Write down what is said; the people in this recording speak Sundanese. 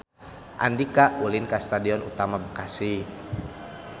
Andika ulin ka Stadion Utama Bekasi